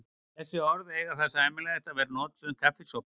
Þessi orð eiga það sameiginlegt að vera notuð um kaffisopa.